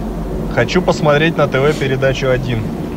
хочу посмотреть на тв передачу один